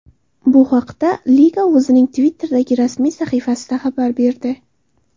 Bu haqda liga o‘zining Twitter’dagi rasmiy sahifasida xabar berdi .